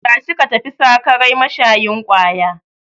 Tashi ka tafi sakarai mashayin kwaya!